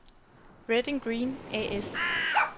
Red/Green A/S